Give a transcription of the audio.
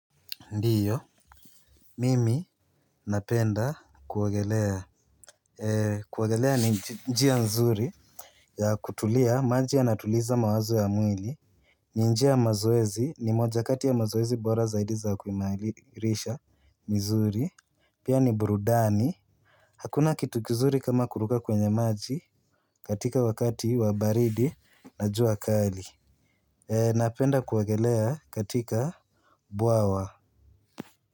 Ndiyo, mimi napenda kuogelea. Kuogelea ni njia nzuri ya kutulia. Maji yanatuliza mawazo ya mwili. Ni njia ya maoezi ni moja kati ya mazoezi bora zaidi za kuimarisha mizuri. Pia ni burudani. Hakuna kitu kizuri kama kuruka kwenye maji katika wakati wa baridi na jua kali. Napenda kuogelea katika bwawa.